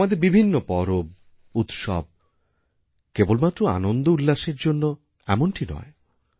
আমাদের বিভিন্ন পরব উৎসব কেবল মাত্রআনন্দউল্লাসের জন্য এমনটি নয়